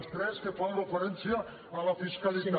les tres que fan referència a la fiscalitat